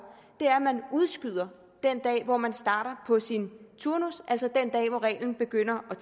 er at man udskyder den dag hvor man starter på sin turnus altså den dag hvor reglen begynder at